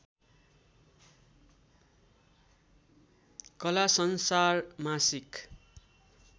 कला संसार मासिक